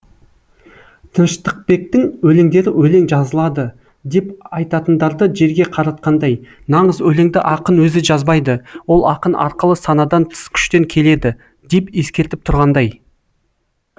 тыныштықбектің өлеңдері өлең жазылады деп айтатындарды жерге қаратқандай нағыз өлеңді ақын өзі жазбайды ол ақын арқылы санадан тыс күштен келеді деп ескертіп тұрғандай